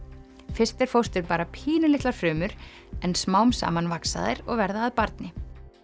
fyrst er fóstur bara pínulitlar frumur en smám saman vaxa þær og verða að barni